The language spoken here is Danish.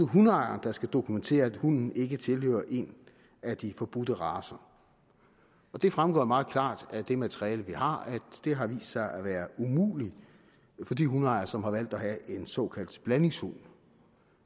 hundeejeren der skal dokumentere at hunden ikke tilhører en af de forbudte racer og det fremgår meget klart af det materiale vi har at det har vist sig at være umuligt for de hundeejere som har valgt at have en såkaldt blandingshund